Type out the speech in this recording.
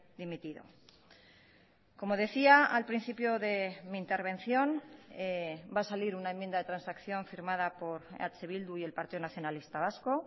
dimitido como decía al principio de mi intervención va a salir una enmienda de transacción firmada por eh bildu y el partido nacionalista vasco